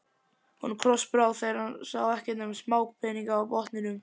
Honum krossbrá þegar sá ekkert nema smápeninga á botninum.